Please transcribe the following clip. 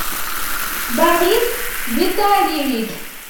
борис витальевич